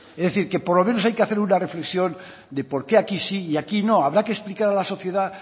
es decir que por lo menos hay que hacer una reflexión de por qué aquí sí y aquí no habrá que explicar a la sociedad